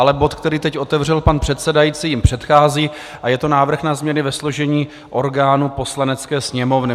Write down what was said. Ale bod, který teď otevřel pan předsedající, jim předchází a je to návrh na změny ve složení orgánů Poslanecké sněmovny.